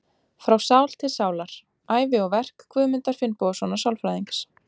Frá sál til sálar: Ævi og verk Guðmundar Finnbogasonar sálfræðings.